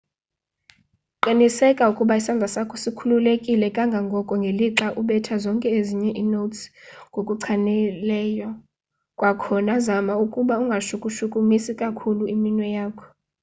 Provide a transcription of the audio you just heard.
qiniseka ukuba isandla sakho sikhululekile kangangoko ngelixa ubetha zonke ezinye inotes ngokuchanileyo-kwakhona zama ukuba ungashukushukumisi kakhulu iminwe yakho